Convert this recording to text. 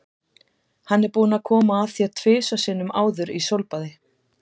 Hann er búinn að koma að þér tvisvar sinnum áður í sólbaði.